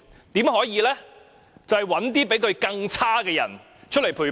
就是找一些比他更差的人出來陪跑。